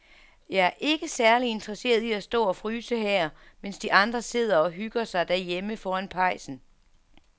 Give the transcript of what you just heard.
Jeg er ikke særlig interesseret i at stå og fryse her, mens de andre sidder og hygger sig derhjemme foran pejsen.